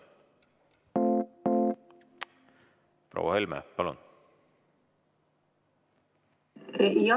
Proua Helme, palun!